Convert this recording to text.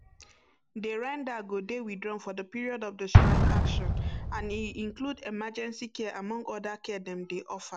dey render go dey withdrawn for di period of di strike action and e include emergency care among oda care dem dey offer